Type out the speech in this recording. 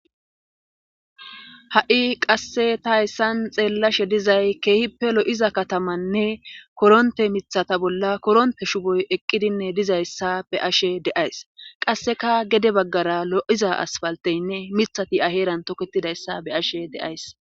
ha7i qasse ta hayssan xeellashe dizay keehippe lo7iza katamanne koronte mithata bolla koronte shuboy eqqidinne dizayssa be ashe deays qasseka gede baggara lo7iza asfalteynne mithati aheeran toketidayssa be ashe deays